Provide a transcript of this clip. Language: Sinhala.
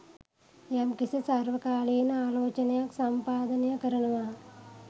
යම්කිසි සර්වකාලීන ආලෝචනයක් සම්පාදනය කරනවා